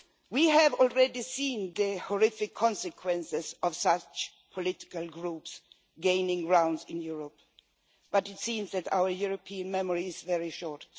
We have already seen the horrific consequences of such political groups gaining ground in Europe, but it seems that our European memory is very short.